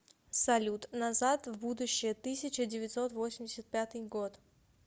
салют назад в будущее тысяча девятьсот восемьдесят пятый год